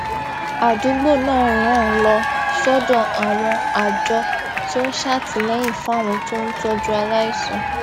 àdúgbò náà rán an lọ sódò àwọn àjọ tó ń ṣàtìléyìn fáwọn tó ń tójú aláìsàn